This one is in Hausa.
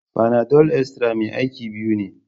Fanadol Extra mai aiki biyu ne.